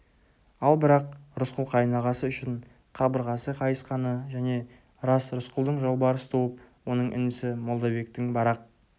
ал бірақ рысқұл қайынағасы үшін қабырғасы қайысқаны және рас рысқұлдың жолбарыс туып оның інісі молдабектің барақ